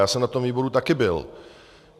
Já jsem na tom výboru také byl.